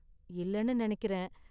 இல்லனு நெனைக்கிறேன்.